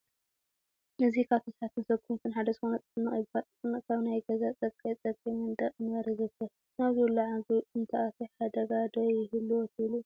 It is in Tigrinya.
እዚ ካብ ተሳሓብትን ሶጎምትን ሓደ ዝኾነ ጥፍንቕ ይባሃል፡፡ ጥፍንቕ ኣብ ናይ ገዛ ፀግዒፀግዒ መንድቕ ምንባር የዘውትር፡፡ ናብ ዝብላዕ ምግቢ እንተኣትዩ ሓደጋ ዶ ይህልዎ ትብሉ?